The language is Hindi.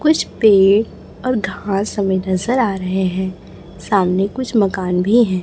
कुछ पे और घास हमें नजर आ रहे हैं सामने कुछ मकान भी है।